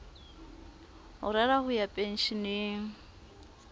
o rera ho ya pensheneng